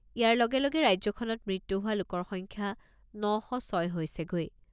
ইয়াৰ লগে লগে ৰাজ্যখনত মৃত্যু হোৱা লোকৰ সংখ্যা ন শ ছয় হৈছেগৈ।